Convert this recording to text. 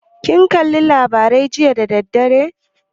Kin kalla labarai jiya da dadaddare?